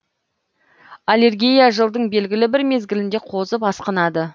аллергия жылдың белгілі бір мезгілінде қозып асқынады